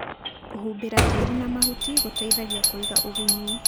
Kũhumbĩra tĩri na mahuti gũteithagia kũiga ũgunyu.